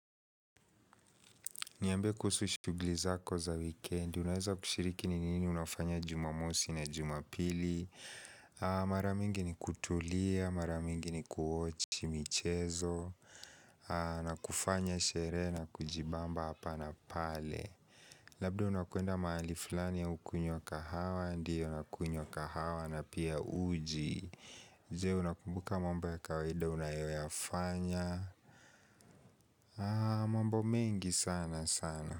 Niambie kuhusu shugli zako za weekend, unaweza kushiriki ni nini unafanya jumamosi na jumapili Maramingi ni kutulia, maramingi ni kuwatch michezo na kufanya sherehe na kujibamba hapa na pale Labda unakuenda mahali fulani au kunywa kahawa, ndiyo na kunywa kahawa na pia uji Zee unakumbuka mambo ya kawaida unayoyafanya mambo mengi sana sana.